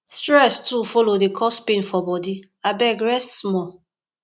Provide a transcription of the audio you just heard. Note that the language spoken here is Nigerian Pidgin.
stress too folo dey cause pain for bodi abeg rest small